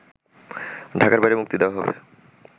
ঢাকার বাইরে মুক্তি দেওয়া হবে